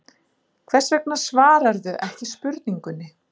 Hvers vegna svararðu ekki spurningunni?